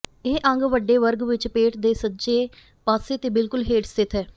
ਇਹ ਅੰਗ ਵੱਡੇ ਵਰਗ ਵਿਚ ਪੇਟ ਦੇ ਸੱਜੇ ਪਾਸੇ ਤੇ ਬਿੱਲਕੁਲ ਹੇਠ ਸਥਿਤ ਹੈ